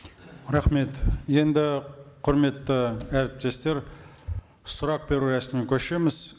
рахмет енді құрметті әріптестер сұрақ беру рәсіміне көшеміз